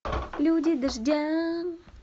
люди дождя